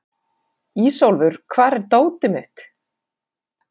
Ísólfur, hvar er dótið mitt?